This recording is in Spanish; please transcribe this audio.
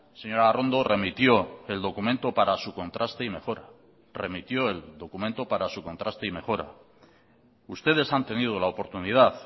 señora arrondo remitió el documento para su contraste y mejora remitió el documento para su contraste y mejora ustedes han tenido la oportunidad